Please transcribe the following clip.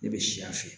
Ne bɛ si a fɛ